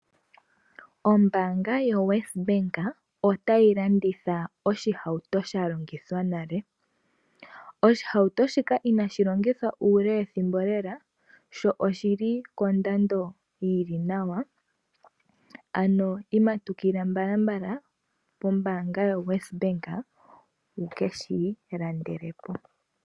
Ombanga yoWes Bank ota yi landitha ohauto ya longithwa nale. Ohauto ndjika ina yi longithwa uule wethimbo lela sho oshili kondando yi li nawa ano matukila mbalambala kombanga yoWes Bank wu keshiilandelepo.